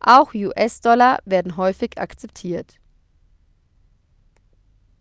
auch us-dollar werden häufig akzeptiert